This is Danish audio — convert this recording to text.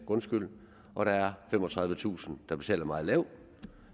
grundskyld og der er femogtredivetusind der betaler meget lidt og